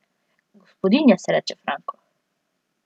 Gospodinja se reče, Franko.